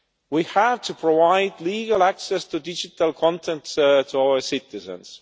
We have to provide legal access to digital content for our citizens.